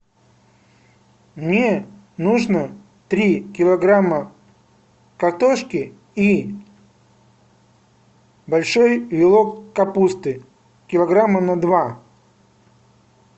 мне нужно три килограмма картошки и большой вилок капусты килограмма на два